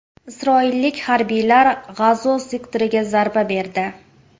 Isroillik harbiylar G‘azo sektoriga zarba berdi.